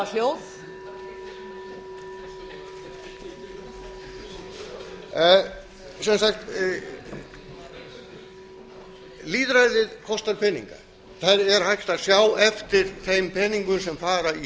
á þingpöllunum að hafa hljóð lýðræðið kostar peninga það er hægt að sjá eftir þeim peningum sem fara í